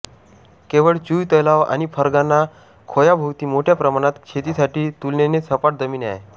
केवळ चुय तलाव आणि फर्गाना खोयाभोवती मोठ्या प्रमाणात शेतीसाठी तुलनेने सपाट जमीन आहे